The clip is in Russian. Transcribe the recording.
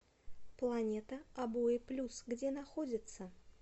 планета обои плюс где находится